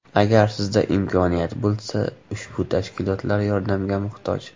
Agar sizda imkoniyat bo‘lsa, ushbu tashkilotlar yordamga muhtoj.